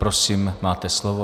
Prosím, máte slovo.